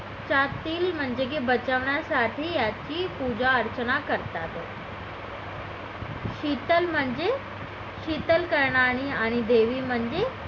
म्हणजे की बचावण्यासाठी याच याची पूजा अर्चना करतात शितल म्हणजे शितल करणारी आणि देवी म्हणजे